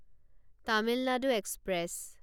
Tamil Nadu express